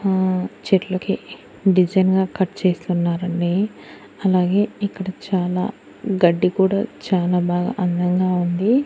ఆ చెట్లుకి డిజైన్ గా కట్ చేస్తున్నారండి అలాగే ఇక్కడ చాలా గడ్డి కూడా చానా బాగా అందంగా ఉంది.